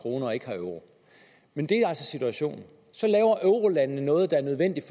krone og ikke har euro men det er altså situationen så laver eurolandene noget der er nødvendigt